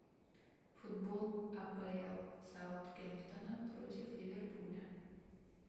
футбол апл саутгемптона против ливерпуля